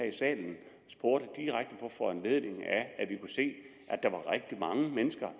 i salen og spurgte direkte på foranledning af at vi kunne se at der var rigtig mange mennesker